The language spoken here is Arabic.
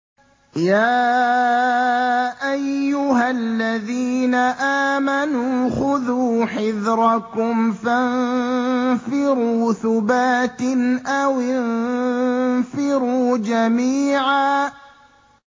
يَا أَيُّهَا الَّذِينَ آمَنُوا خُذُوا حِذْرَكُمْ فَانفِرُوا ثُبَاتٍ أَوِ انفِرُوا جَمِيعًا